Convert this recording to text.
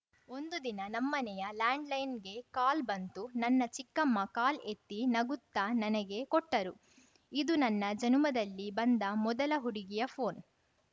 ಒಂದು ದಿನ ನಮ್ಮನೆಯ ಲ್ಯಾಂಡ್‌ಲೈನ್‌ಗೆ ಕಾಲ್ ಬಂತು ನನ್ನ ಚಿಕ್ಕಮ್ಮ ಕಾಲ್‌ ಎತ್ತಿ ನಗುತ್ತಾ ನನಗೆ ಕೊಟ್ಟರು ಇದು ನನ್ನ ಜನುಮದಲ್ಲಿ ಬಂದ ಮೊದಲ ಹುಡುಗಿಯ ಫೋನ್‌